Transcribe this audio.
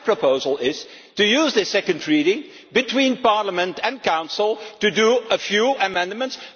My proposal is to use the second reading between Parliament and Council to make a few amendments